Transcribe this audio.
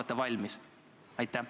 Kas te olete valmis?